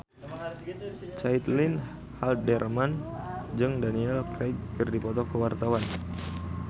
Caitlin Halderman jeung Daniel Craig keur dipoto ku wartawan